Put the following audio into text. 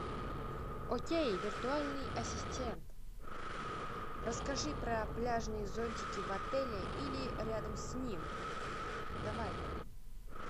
окей виртуальный ассистент расскажи про пляжные зонтики в отеле или рядом с ним давай